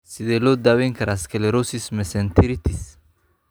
Sidee loo daweyn karaa sclerosis mesenteritis?